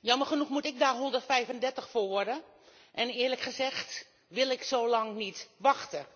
Jammer genoeg moet ik daar 135 jaar voor worden en eerlijk gezegd wil ik zo lang niet wachten.